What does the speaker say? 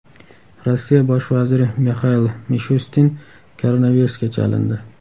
Rossiya bosh vaziri Mixail Mishustin koronavirusga chalindi.